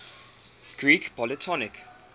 greek polytonic